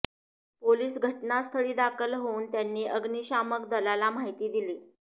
police घटनास्थळी दाखल होऊन त्यांनी अग्निशामक दलाला माहिती दिली